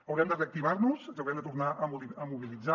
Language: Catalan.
haurem de reactivar nos i ens haurem de tornar a mobilitzar